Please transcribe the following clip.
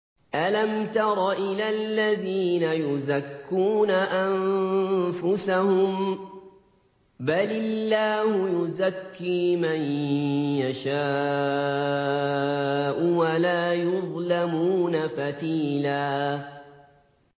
أَلَمْ تَرَ إِلَى الَّذِينَ يُزَكُّونَ أَنفُسَهُم ۚ بَلِ اللَّهُ يُزَكِّي مَن يَشَاءُ وَلَا يُظْلَمُونَ فَتِيلًا